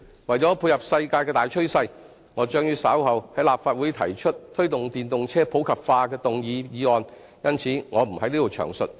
為了配合世界的大趨勢，我將於稍後在立法會提出"推動電動車普及化"的議案，因此，我不在此詳述。